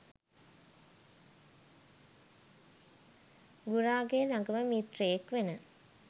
ගුරාගෙ ළඟම මිත්‍රයෙක් වෙන